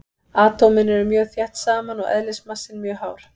Atómin eru mjög þétt saman og eðlismassinn mjög hár.